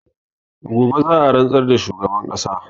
Gobe za a rantsar da shugaban ƙasa